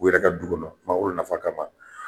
U yɛrɛ ka du kɔnɔ mangoro nafa kama.